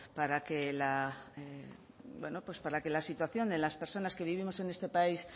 para que la situación de las personas que vivimos en este país